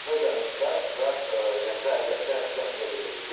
Və üzərinə düşdülər və yəni zərərsizləşdirildi belə deyim.